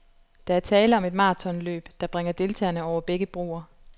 Der er tale om et maratonløb, der bringer deltagerne over begge broer.